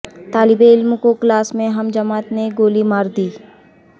طالب علم کو کلاس میں ہم جماعت نے گولی ما ردی